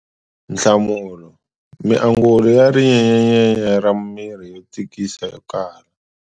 Nhlamulo- Miangulo ya rinyenyanyenya ra miri yo tikisa ya kala.